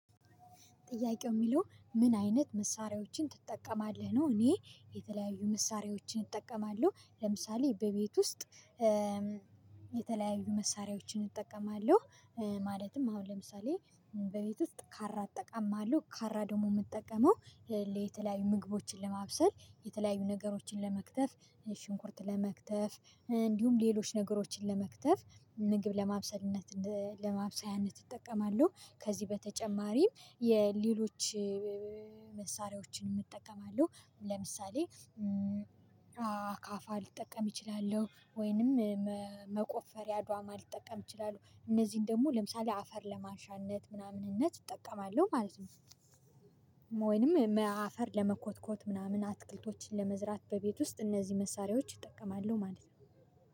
ጥያቄው የሚለው ምን አይነት መሳሪያዎችን ትጠቀማለህ ነው እኔ የተለያዩ መሳሪያዎችን እጠቀማለሁ። ለምሳሌ በቤት ውስጥ የተለያዩ መሳሪያዎችን እጠቀማለሁ። ማለትም አሁን ለምሳሌ በቤት ውስጥ ካራ እጠቀማለሁ። ካራ ደግሞ የምጠቀመው የተለያዩ ምግቦችን ለማብሰል የተለያዩ ነገሮችን ለመክተፍ ሽንኩርት ለመክተፍ እንዲሁም ሌሎች ነገሮችን ለመክተፍ ምግብ ለማብሰልነት ለማብሰያነት ይጠቀማሉ። ከዚህ በተጨማሪም የሌሎች መሳሪያችን እጠቀማለሁ። ለምሳሌ አካፋ ልጠቀም እችላለሁ ወይንም መቆፈሪያ አድዋማ ልጠቀም እችላለሁ። እነዚህን ደግሞ ለምሳሌ አፈር ለማንሻነት ምናምንነት እጠቀማለሁ ማለት ነው ወይንም አፈር ለመኮትኮት ምናምን አትክልቶችን ለመዝራት በቤት ውስጥ እነዚህ መሳሪያዎች እጠቀማለሁ ማለት ነው።